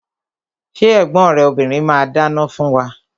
Ṣé ẹ̀gbọ́n rẹ obìrin ma dáná fún wa?